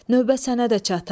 Növbə sənə də çatar.